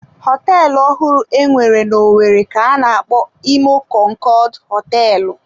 Họteelụ ọhụrụ enwere n'owerri ka-ana akpọ Imo konkood hoteelu.